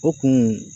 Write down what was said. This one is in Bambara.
O kun